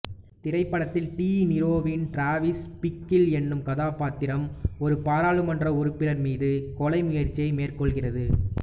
திரைப்படத்தில் டி நீரோவின் Travis Bickle என்னும் கதாபாத்திரம் ஒரு பாராளுமன்ற உறுப்பினர் மீது கொலை முயற்சியை மேற்கொள்கிறது